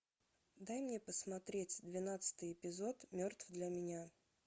дай мне посмотреть двенадцатый эпизод мертв для меня